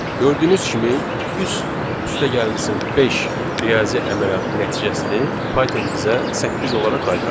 Gördüyünüz kimi 3 üstəgəlsin 5 riyazi əməliyyatının nəticəsini Python bizə 8 olaraq qaytardı.